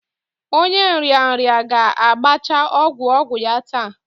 Onye nrịanrịa ga-agbacha ọgwụ ogwu ya taa